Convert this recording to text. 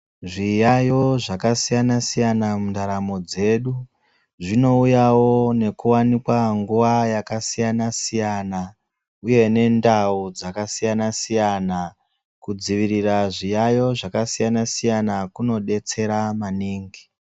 Zviyayo zvaka siyana siyana mu ndaramo dzedu zvino uyawo neku wanikwa nguva yaka siyana siyana uye ne ndau dzaka siyana siyana ku dzivirira zviyayo zvaka siyana siyana kuno detsera maningi.